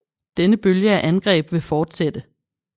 Denne bølge af angreb vil fortsætte